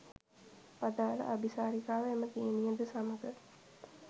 අදාල අබිසාරිකාව එම දියණියද සමඟ